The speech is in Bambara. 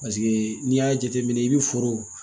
Paseke n'i y'a jateminɛ i bɛ foro